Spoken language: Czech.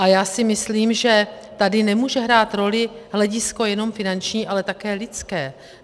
A já si myslím, že tady nemůže hrát roli hledisko jenom finanční, ale také lidské.